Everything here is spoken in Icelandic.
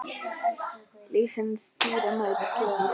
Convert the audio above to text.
Lífsins dýrmæta gjöf.